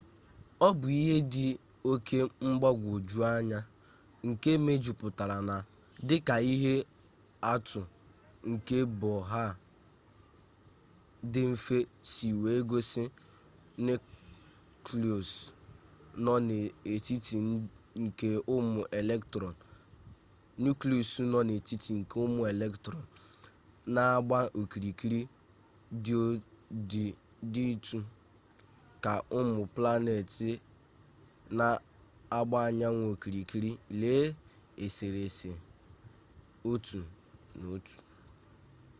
ọ bụ ihe dị oke mgbagwoju anya nke mejupụtara na dịka ihe atụ nke bohr dị mfe si wee gosi nuklịọs nọ n'etiti nke ụmụ elektrọn na-agba okirikiri dịtụ ka ụmụ planet na-agba anyanwụ okirikiri lee eserese 1.1